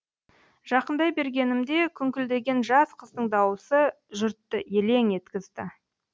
жақындай бергенімде күңкілднген жас қыздың дауысы жұртты елең еткізді